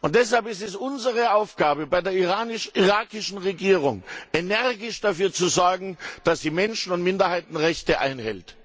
Deshalb ist es unsere Aufgabe, bei der irakischen Regierung energisch dafür zu sorgen, dass sie die Menschen und Minderheitenrechte einhält.